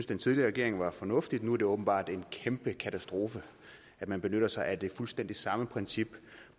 den tidligere regering var fornuftigt nu er det åbenbart en kæmpe katastrofe at man benytter sig af det fuldstændig samme princip